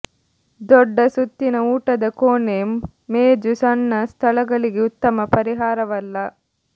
ದೊಡ್ಡ ಸುತ್ತಿನ ಊಟದ ಕೋಣೆ ಮೇಜು ಸಣ್ಣ ಸ್ಥಳಗಳಿಗೆ ಉತ್ತಮ ಪರಿಹಾರವಲ್ಲ